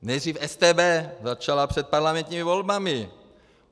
Nejdřív StB začala před parlamentními volbami.